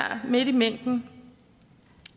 midt i mængden